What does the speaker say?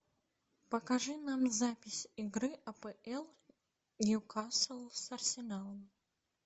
покажи нам запись игры апл ньюкасл с арсеналом